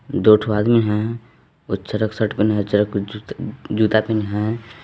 दो ठो आदमी हैं और चरक शर्ट पहने हैं और चरक जूत जूता पहने हैं।